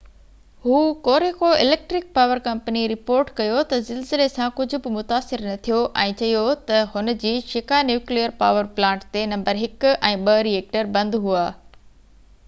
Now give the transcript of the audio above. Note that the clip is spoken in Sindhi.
Hokuriku electric power company report ڪيو ته زلزلي سان ڪجهه به متاثر نه ٿيو ۽ چيو ته هن جي شيڪا نيوڪليئر پاور پلانٽ تي نمبر 1 ۽ 2 ري ايڪٽر بند هئا